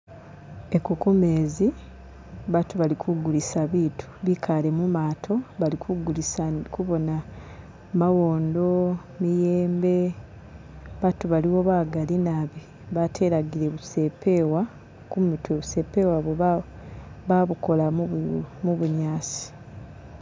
Eku kumezi batu bali kugulisa bitu bikale mumato bali kugulisa ndi kubona mawondo, miyembe, batu baliwo bagali naabi batelagile busepewa kumitwe busepewa babukola mubunyasi.